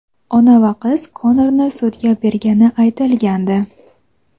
ona va qiz Konorni sudga bergani aytilgandi.